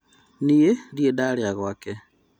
Niĩ ndirĩ ndarĩa gwake